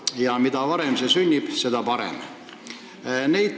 Ja mida varem see sünnib, seda parem.